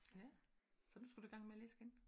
Ja? Så nu skal du i gang med at læse igen?